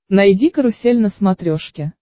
найди карусель на смотрешке